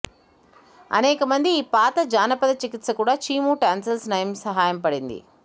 అనేక మంది ఈ పాత జానపద చికిత్స కూడా చీము టాన్సిల్స్ నయం సహాయపడింది